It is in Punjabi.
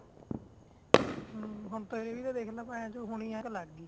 ਹਮ ਹੋਣ ਤੂੰ ਹੀ ਦੇਖ ਲੈ ਬਾਯੀ ਹੋਣੇ ਹੀ ਐਨਕ ਲੱਗ ਗਈ